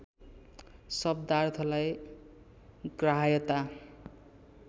शब्दार्थलाई ग्राह्यता